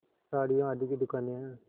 साड़ियों आदि की दुकानें हैं